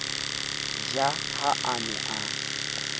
ja ha a ne a